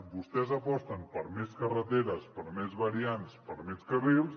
vostès aposten per més carreteres per més variants per més carrils